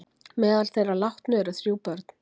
Meðal þeirra látnu eru þrjú börn